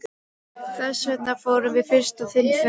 Þessvegna fórum við fyrst á þinn fund.